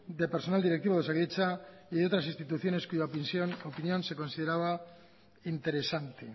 de personal directivo de osakidetza y de otras instituciones cuya opinión se consideraba interesante